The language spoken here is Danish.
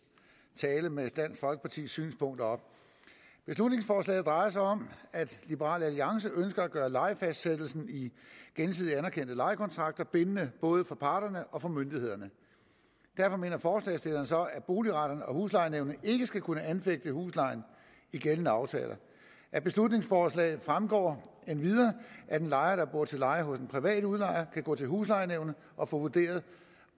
tale med dansk folkepartis synspunkter op beslutningsforslaget drejer sig om at liberal alliance ønsker at gøre lejefastsættelsen i gensidigt anerkendte lejekontrakter bindende både for parterne og for myndighederne derfor mener forslagsstillerne så at boligretter og huslejenævn ikke skal kunne anfægte huslejen i gældende aftaler af beslutningsforslaget fremgår det endvidere at en lejer der bor til leje hos en privat udlejer kan gå til huslejenævnet og få vurderet